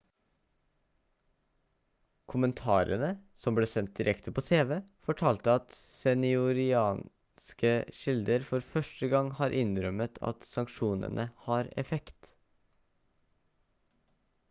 kommentarene som ble sendt direkte på tv fortalte at senioriranske kilder for første gang har innrømmet at sanksjonene har effekt